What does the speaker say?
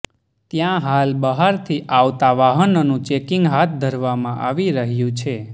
ત્યાં હાલ બહારથી આવતા વાહનોનું ચેકિંગ હાથ ધરવામાં આવી રહ્યું છે